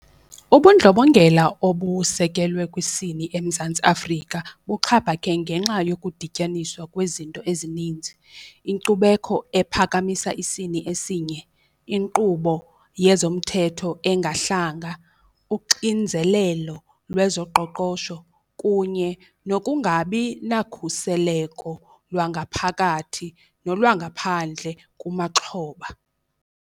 Ubundlobongela obusekelwe kwisini eMzantsi Afrika buxhaphake ngenxa yokudityaniswa kwezinto ezininzi. Inkcubekho ephakamisa isini esinye, inkqubo yezomthetho engahlanga, uxinzelelo lwezoqoqosho kunye nokungabi nakhuseleko lwangaphakathi nolwangaphandle kumaxhoba.